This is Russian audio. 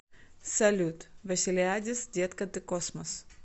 салют василиадис детка ты космос